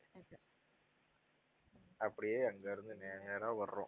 அப்படியே அங்க இருந்து நேரா வர்றோம்